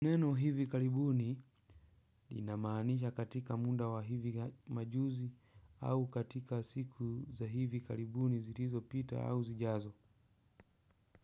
Neno "hivi karibuni" linamaanisha katika muda wa hivi majuzi, au katika siku za hivi karibuni zilizopita au zijazo.